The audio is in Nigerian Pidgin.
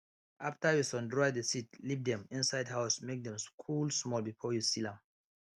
after you sundry the seeds leave dem inside house make dem cool small before you seal am